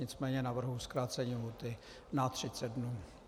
Nicméně navrhuji zkrácení lhůty na 30 dní.